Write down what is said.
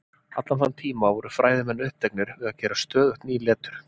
Allan þann tíma voru fræðimenn uppteknir við að gera stöðugt ný letur.